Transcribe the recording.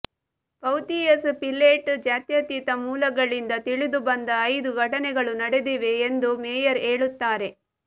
ಪೌಥಿಯಸ್ Pilate ಜಾತ್ಯತೀತ ಮೂಲಗಳಿಂದ ತಿಳಿದುಬಂದ ಐದು ಘಟನೆಗಳು ನಡೆದಿವೆ ಎಂದು ಮೇಯರ್ ಹೇಳುತ್ತಾರೆ